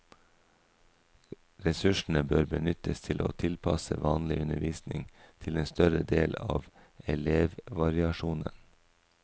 Ressursene bør benyttes til å tilpasse vanlig undervisning til en større del av elevvariasjonen.